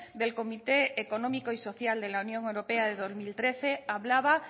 del comité económico y social de la unión europea de dos mil trece hablaba